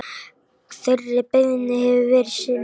Þeirri beiðni hefur verið synjað.